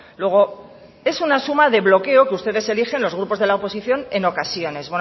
luego es una suma de bloqueo que ustedes eligen los grupos de la oposición en ocasiones